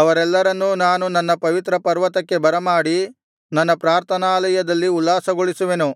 ಅವರೆಲ್ಲರನ್ನೂ ನಾನು ನನ್ನ ಪವಿತ್ರಪರ್ವತಕ್ಕೆ ಬರಮಾಡಿ ನನ್ನ ಪ್ರಾರ್ಥನಾಲಯದಲ್ಲಿ ಉಲ್ಲಾಸಗೊಳಿಸುವೆನು